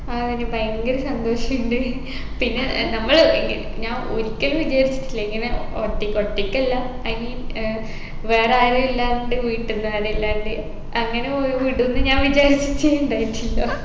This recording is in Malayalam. ആ അയിന് ഭയങ്കര സന്തോഷിണ്ട് പിന്നെ നമ്മള് എങ്കിൽ ഞാൻ ഒരിക്കലും വിചാരിച്ചിട്ടില്ല ഇങ്ങനെ ഒറ്റയ്ക്ക് ഒറ്റയ്ക്കല്ല i mean ഏർ വേറെ ആരും ഇല്ലാണ്ട് വീട്ടീന്ന് ആരു ഇല്ലാണ്ട് അങ്ങനെ ഒ വിടുംന്ന് ഞാൻ വിചാരിച്ചിട്ടേ ഇണ്ടായിട്ടില്ല